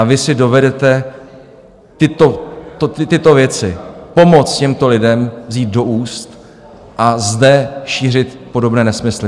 A vy si dovedete tyto věci, pomoc těmto lidem, vzít do úst a zde šířit podobné nesmysly?